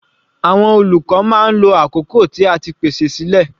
Àwọn olùkọ́ máa ń lo awọn àkókò tí a ti pèsè sílẹ̀.